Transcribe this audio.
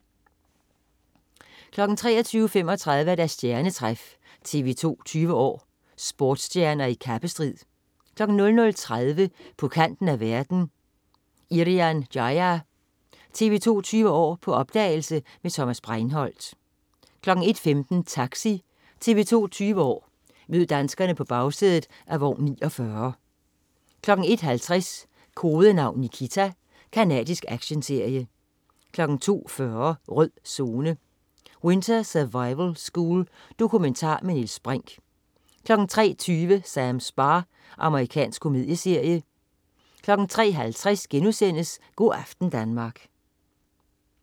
23.35 Stjernetræf. TV 2 20 år: Sportsstjerner i kappestrid 00.30 På kanten af verden. Irian Jaya. TV 2 20 år: På opdagelse med Thomas Breinholt 01.15 Taxi. TV 2 20 år: Mød danskerne på bagsædet af vogn 49 01.50 Kodenavn Nikita. Canadisk actionserie 02.40 Rød Zone: Winter survival school. Dokumentar med Niels Brinch 03.20 Sams bar. Amerikansk komedieserie 03.50 Go' aften Danmark*